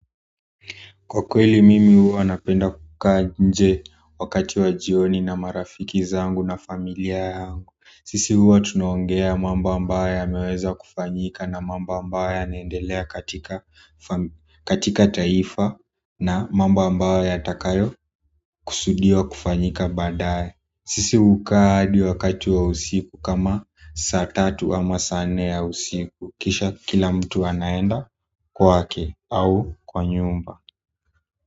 Kwa kweli mimi huwa napenda kukaa nje wakati wa jioni na marafiki zangu na familia yangu sisi huwa tunaongea mambo ambayo yameweza kufanyika na mambo ambayo yanaendelea katika taifa na mambo ambayo yatakayo kusudiwa kufanyika baadae sisi hukaa hadi wakati wa usiku kama saa tatu ama saa nne ya usiku kisha kila mtu anaenda kwake au kwa nyumba.